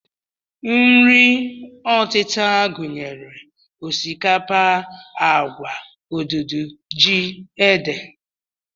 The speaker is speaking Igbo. Nri ọtịta gụnyere osikapa, agwa, odudu, ji, ede